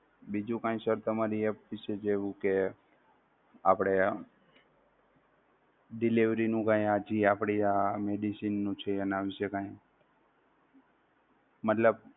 બીજુ કઈ sir તમારી app વિશે જેવુ કે આપણે delivery નું કઈ જે આપણી આ medicine નું છે નામ છે કઈ મતલબ